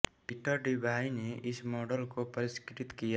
Peter Debye ने इस model को परिष्कृत किया